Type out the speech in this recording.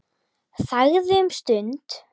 Þagði um stund.